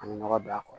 An bɛ nɔgɔ don a kɔrɔ